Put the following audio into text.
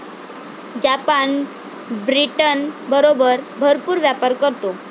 Japan ब्रिटनबरोबर भरपूर व्यापार करतो.